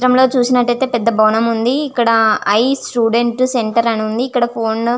ఈ చిత్రం లో చూసినట్టయితే పెద్ద భవనం ఉంది ఇక్కడ ఐ స్టూడెంట్ సెంటర్ అని ఉంది ఇక్కడ ఫోన్ --